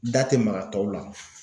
Da tɛ maga tɔw la.